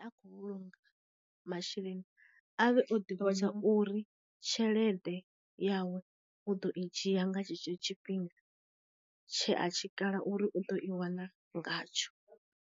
A khou vhulunga masheleni, avhe o ḓivha tsha uri tshelede yawe u ḓo i dzhia nga tshetsho tshifhinga tshe a tshi kala uri u ḓo i wana ngatsho.